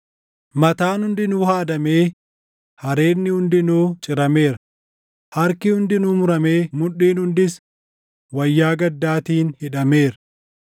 Mataan hundinuu haadamee hareedni hundinuu cirameera; harki hundinuu muramee mudhiin hundis wayyaa gaddaatiin hidhameera.